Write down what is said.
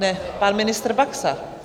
Ne pan ministr Baxa.